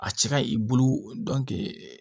A cɛ ka i bolo